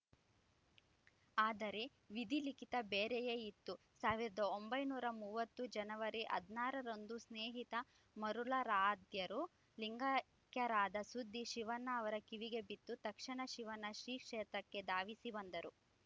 ಆದರೆ ವಿಧಿಲಿಖಿತ ಬೇರೆಯೇ ಇತ್ತು ಸಾವಿರದ ಒಂಬೈನೂರ ಮೂವತ್ತು ಜನವರಿ ಹದಿನಾರರಂದು ಸ್ನೇಹಿತ ಮರುಳಾರಾಧ್ಯರು ಲಿಂಗೈಕ್ಯರಾದ ಸುದ್ದಿ ಶಿವಣ್ಣ ಅವರ ಕಿವಿಗೆ ಬಿತ್ತು ತಕ್ಷಣ ಶಿವಣ್ಣ ಶ್ರೀಕ್ಷೇತ್ರಕ್ಕೆ ಧಾವಿಸಿ ಬಂದರು